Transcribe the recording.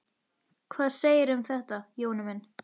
Hvað segirðu um þetta, Jón minn?